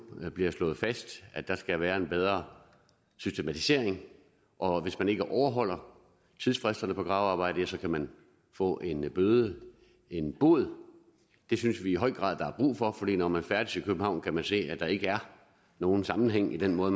nu bliver slået fast at der skal være en bedre systematisering og hvis man ikke overholder tidsfristerne på gravearbejde ja så kan man få en bøde en bod det synes vi i høj grad der er brug for for når man færdes i københavn kan man se at der ikke er nogen sammenhæng i den måde